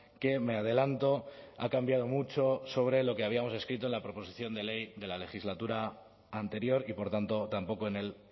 que me adelanto ha cambiado mucho sobre lo que habíamos escrito en la proposición de ley de la legislatura anterior y por tanto tampoco en el